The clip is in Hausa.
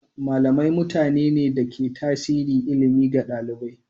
Malamai mutane ne da ke tasiri ilimi ga ɗalibai.